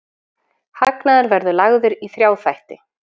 Hagnaður verður lagður í þrjá þætti